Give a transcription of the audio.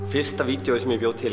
fyrsta vídeóið sem ég bjó til